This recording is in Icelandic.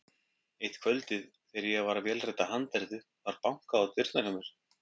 Eitt kvöldið þegar ég var að vélrita handritið var bankað á dyrnar hjá mér.